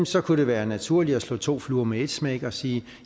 så kunne det være naturligt at slå to fluer med et smæk og sige